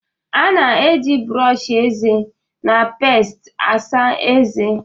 A na-eji brọọsh eze na peest asa ezé.